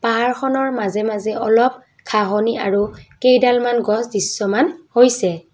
পাহাৰখনৰ মাজে মাজে অলপ ঘাঁহনি আৰু কেইডলমান গছ দৃশ্যমান হৈছে।